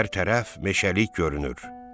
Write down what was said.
Hər tərəf meşəlik görünür.